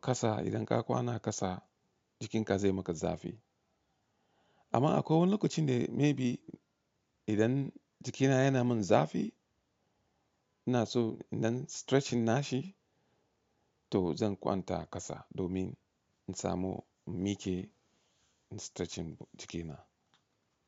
kasa idan ka kwana a kasa jikinka zai maka zafi. Amma a kowane lokacin da maybe idan jikina yana min zafi, ina so idan stretching nashi to zan kwanta a kasa domin in samu mike in stretching jikina.